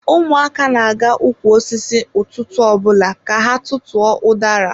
Ụmụaka na-aga ụkwụ osisi ụtụtụ ọbụla ka ha tutu ọ udara.